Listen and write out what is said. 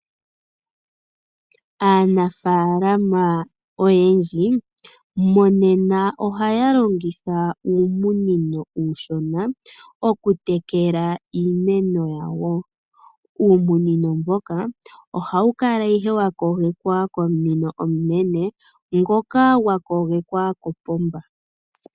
Aanafalama oyendji monena ohaya longitha uumunino uushona okutekela iimeno yawo. Uumunino mboka ohawu kala ihe wa kogekwa komunino omunene ngoka gwa kogekwa kopomba.